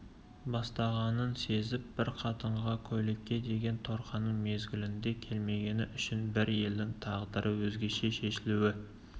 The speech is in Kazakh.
бастағанын сезіп бір қатынға көйлекке деген торқаның мезгілінде келмегені үшін бір елдің тағдыры өзгеше шешілуі